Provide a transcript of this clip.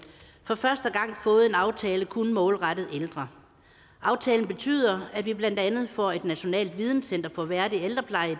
for første gang fået en aftale kun målrettet ældre aftalen betyder at vi blandt andet får et nationalt videnscenter for værdig ældrepleje i